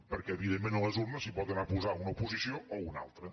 perquè evidentment a les urnes s’hi pot anar a posar una posició o una altra